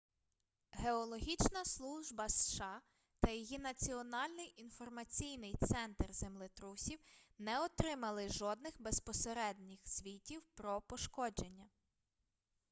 геологічна служба сша та її національний інформаційний центр землетрусів не отримали жодних безпосередніх звітів про пошкодження